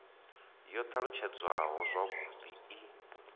yo t alutshedzwaho zwavhud i